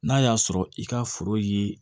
N'a y'a sɔrɔ i ka foro ye